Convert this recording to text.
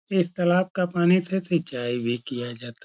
इस तलाब का पानी से सिचाई भी किया जाता --